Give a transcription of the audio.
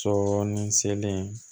Sɔɔni selen